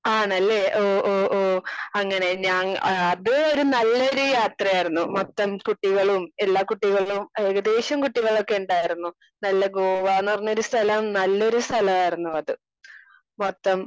Speaker 2 ആണല്ലേ? ഓ ഓ ഓ അങ്ങനെ. ആഹ് ഞാൻ അത് ഒരു നല്ലൊരു യാത്രയാർന്നു. മൊത്തം കുട്ടികളും എല്ലാ കുട്ടികളും ഏകദേശം കുട്ടികളൊക്കെ ഉണ്ടായിരുന്നു. നല്ല ഗോവാന്ന് പറഞ്ഞൊരു സ്ഥലം നല്ലൊരു സ്ഥലാർന്നു അത്. മൊത്തം